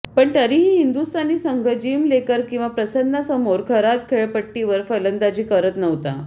पण तरीही हिंदुस्थानी संघ जीम लेकर किंवा प्रसन्नासमोर खराब खेळपट्टीवर फलंदाजी करत नव्हता